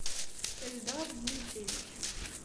эльдар дмитриевич